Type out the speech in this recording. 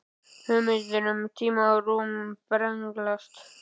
Hugmyndir um tíma og rúm brenglast.